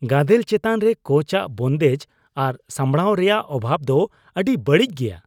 ᱜᱟᱫᱮᱞ ᱪᱮᱛᱟᱱ ᱨᱮ ᱠᱳᱪ ᱟᱜ ᱵᱚᱱᱫᱮᱡ ᱟᱨ ᱥᱟᱢᱵᱲᱟᱣ ᱨᱮᱭᱟᱜ ᱚᱵᱷᱟᱵᱽ ᱫᱚ ᱟᱹᱰᱤ ᱵᱟᱹᱲᱤᱡ ᱜᱮᱭᱟ ᱾